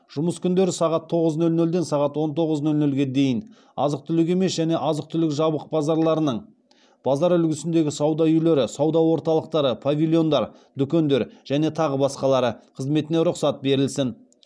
жұмыс күндері сағат тоғыз нөл нөлден сағат он тоғыз нөл нөлге дейін азық түлік емес және азық түлік жабық базарларының базарлар үлгісіндегі сауда үйлері сауда орталықтары павильондар дүкендер және тағы басқалары қызметіне рұқсат берілсін